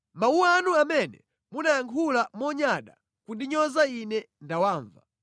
Mawu anu amene munayankhula monyada kundinyoza Ine ndinawamva.